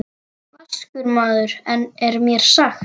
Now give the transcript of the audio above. Vaskur maður er mér sagt.